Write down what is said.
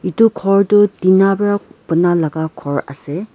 etu ghor toh tina para bona laka ghor ase.